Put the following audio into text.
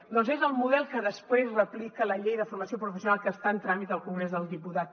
doncs és el model que després replica la llei de formació professional que està en tràmit al congrés dels diputats